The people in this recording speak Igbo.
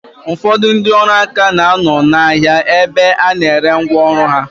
Ụfọdụ ndị ọrụ aka na-anọ n'ahia ebe a na-ere ngwa ọrụ ha.